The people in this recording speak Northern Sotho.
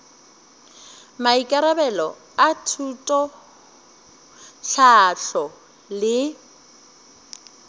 maikarabelo a thuto tlhahlo le